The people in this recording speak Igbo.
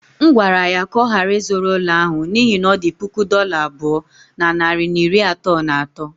M gwara ya ka ọ ghara ịzụrụ ụlọ ahụ n’ihi na ọ dị puku dollar abụọ na narị na iri atọ na atọ.